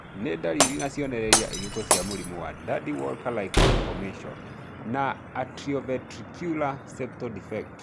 Nĩ ndariri na cionereria irĩkũ cia mũrimũ wa Dandy Walker like malformation with atrioventricular septal defect?